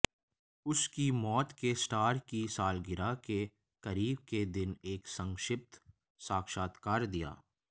उसकी मौत के स्टार की सालगिरह के करीब के दिन एक संक्षिप्त साक्षात्कार दिया